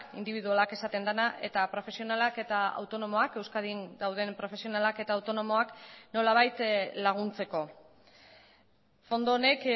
indibidualak esaten dena eta profesionalak eta autonomoak euskadin dauden profesionalak eta autonomoak nolabait laguntzeko fondo honek